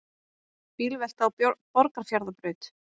Bílvelta á Borgarfjarðarbraut